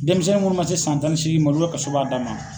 Denmisɛn minnu man se san tan ni seegin ma olu ka kaso b'a dan ma.